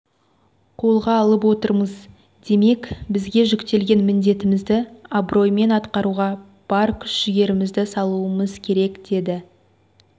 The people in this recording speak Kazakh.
қолға алып отырмыз демек бізге жүктелген міндетімізді абыроймен атқаруға бар күш жігерімізді салуымыз керек деді